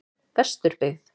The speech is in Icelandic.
Vesturbyggð